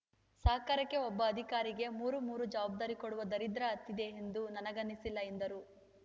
ಸರಕಾರಕ್ಕೆ ಒಬ್ಬ ಅಧಿಕಾರಿಗೆ ಮೂರು ಮೂರು ಜವಾಬ್ದಾರಿ ಕೊಡುವ ದರಿದ್ರ ಹತ್ತಿದೆ ಎಂದು ನನಗನ್ನಿಸಲ್ಲ ಎಂದರು